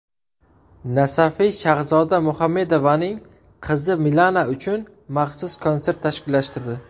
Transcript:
Nasafiy Shahzoda Muhammedovaning qizi Milana uchun maxsus konsert tashkillashtirdi.